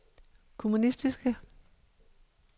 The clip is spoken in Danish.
kommunistiske